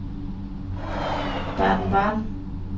Baden-Baden